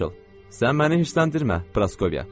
Sən məni hirsləndirmə, Praskovya.